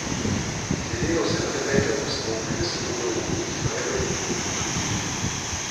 Glede na vse pretekle postopke se bodo upniki najverjetneje pritožili.